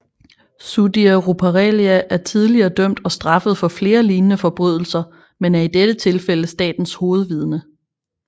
Sudhir Ruparelia er tidligere dømt og straffet for flere lignende forbrydelser men er i dette tilfælde statens hovedvidne